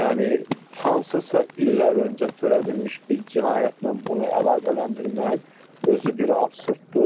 Yəni hansısa illər öncə törədilmiş bir cinayətlə mən bunu əlaqələndirməyin özü bir absurddur.